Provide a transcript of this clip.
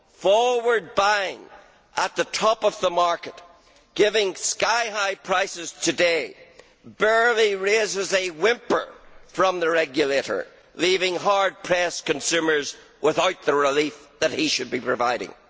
Forward buying at the top of the market, giving sky high prices today, barely raises a whimper from the regulator, leaving hard pressed consumers without the relief that he should be providing.